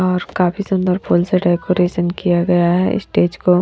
और काफी सुंदर फूल से डेकोरेशन किया गया है स्टेज को।